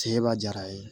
Seba diyara a ye